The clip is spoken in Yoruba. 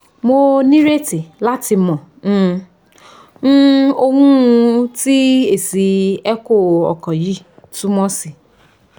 mo nireti lati mọ um um ohun ti esi echo ọkan yi tumọ si